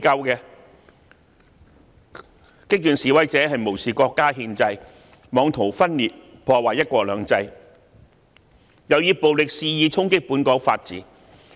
激進示威者無視國家憲制，妄圖分裂、破壞"一國兩制"，又以暴力肆意衝擊本港法治。